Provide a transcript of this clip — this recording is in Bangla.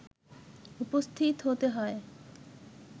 উপস্থিত হতে হয়